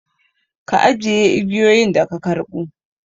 Ka ajiye igiyoyin da ka karɓo!